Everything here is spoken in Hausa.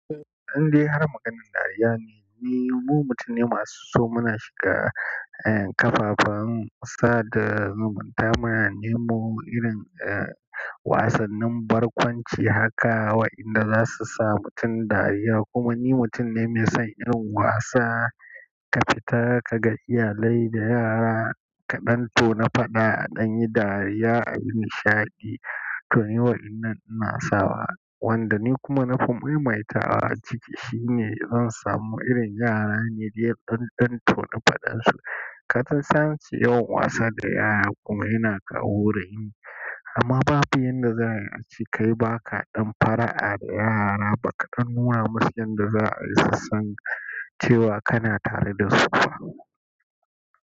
Idai har maganin dariya ne, mu mutane masu so muna shiga, eh, kafafen sada zumunta muna nemo irin, eh, wasannin barkwanci haka wa'inda zasu sa mutum dariya. Kuma ni mutum ne mai son yin wasa, ka fita kaga iyalai da yara ka ɗanto na faɗa a ɗanye dariya a yi nishaɗi, to ni waɗannan ina sawa. Wanda ni kuma na fi mai matawa a ciki shine zan samu irin yara na dai ɗan ɗanto na faɗan su. Ka san ace yawan wasa da yara kuma yana kawo raini. Amma babu yanda za'a yi kai ba kaɗan fara'a da yara ba ka nuna musun yanda za'ayi su san cewa kana tare da su ba.